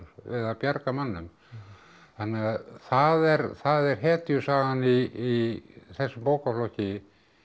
við að bjarga mönnum þannig að það er það er í þessum bókaflokki